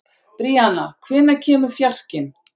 Bríanna, hvenær kemur fjarkinn?